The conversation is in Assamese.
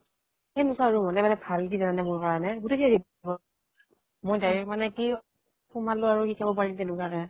সেনেকুৱা আৰু হলে ভাল কি জানা নে মোৰ কাৰণে গোতেই মই direct মানে কি সোমালো আৰু শিকাব পাৰিম তেনেকুৱাকে ।